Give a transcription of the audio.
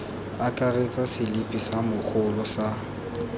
akaretsa selipi sa mogolo sa